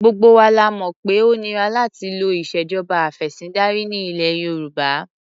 Gbogbo wa la mọ̀ pé ó nira láti lo ìṣèjọba afẹ̀sìndarí ní ilẹ̀ Yorùbá.